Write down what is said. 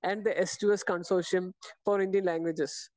Speaker 2 and the S to S consortium for Indian languages.